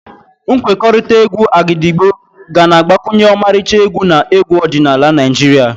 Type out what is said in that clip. Nkwekọrịta égwù Agidigbo ga na-agbakwunye ọmarịcha egwu na egwu ọdịnala Naijiria.